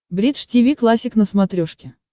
бридж тиви классик на смотрешке